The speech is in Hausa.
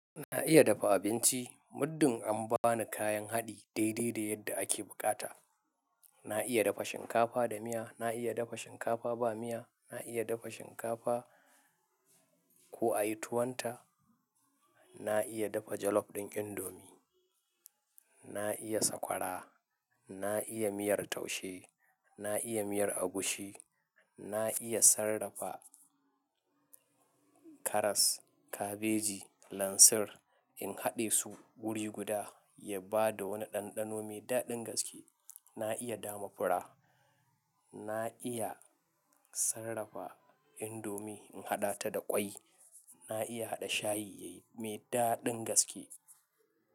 Na iya dafa abinci, muddin an bani kayan haɗi daidai da yadda ake bukata. Na iya dafa shinkafa da miya, na iya dafa shinkafa ba miya, na iya dafa shinkafa ko a yi tuwanta, na iya dafa jollof ɗin indomi, na iya sakwara, na iya miyar taushe, na iya miyar agushi, na iya sarrafa karas, kabeji, lansir in haɗe su guri guda ya ba da wani ɗanɗano mai daɗin gaske. Na iya damafura, na iya sarrafa indomi in haɗa ta da ƙwai, na iya haɗa shayi yayi mai daɗin gaske.